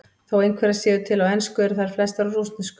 Þó einhverjar séu til á ensku eru þær flestar á rússnesku.